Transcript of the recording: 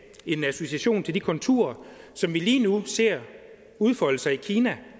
en association til de konturer som vi lige nu ser udfolde sig i kina